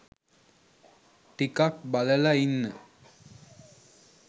ටිකක් බලල ඉන්න.